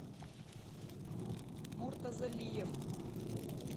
муртазалиев